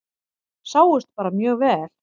Sáust bara mjög vel.